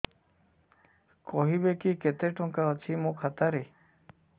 କହିବେକି କେତେ ଟଙ୍କା ଅଛି ମୋ ଖାତା ରେ